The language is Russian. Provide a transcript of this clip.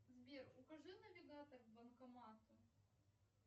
сбер укажи навигатор к банкомату